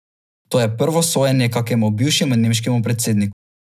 To je prvo sojenje kakemu bivšemu nemškemu predsedniku.